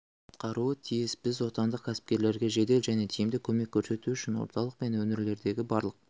атқаруы тиіс біз отандық кәсіпкерлерге жедел және тиімді көмек көрсету үшін орталық пен өңірлердегі барлық